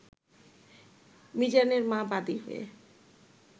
মিজানের মা বাদী হয়ে